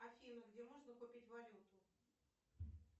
афина где можно купить валюту